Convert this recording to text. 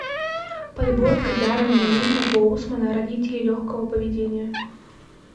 подборка даррена линна боусмана родители легкого поведения